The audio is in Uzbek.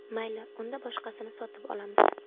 Mayli, unda boshqasini sotib olamiz.